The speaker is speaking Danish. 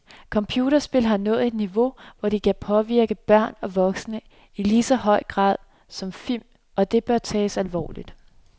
Computerspil har nået et niveau, hvor de kan påvirke børn og voksne i lige så høj grad som film, og det bør tages alvorligt.